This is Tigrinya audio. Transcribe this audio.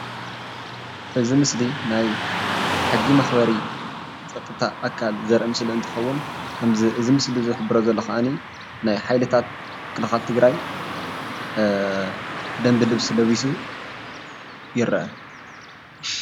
እዚ ምስሊ ናይ ሕጊ መኽበሪ ፀጥታ ኣካል ዘርኢ ምስሊ እንትኸውን ከምዚ እዚ ምስሊ ዝሕብሮ ዘሎ ከዓኒ ናይ ሓይልታት ምክልኻል ትግራይ ደንቢ ልብሲ ለቢሱ ይርአ፡፡